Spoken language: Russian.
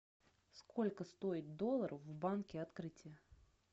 сколько стоит доллар в банке открытие